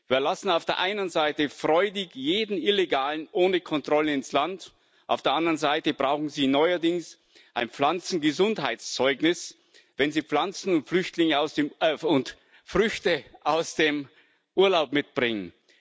Wir lassen auf der einen Seite freudig jeden Illegalen ohne Kontrolle ins Land, auf der anderen Seite brauchen Sie neuerdings ein Pflanzengesundheitszeugnis, wenn Sie Pflanzen und Früchte aus dem Urlaub mitbringen.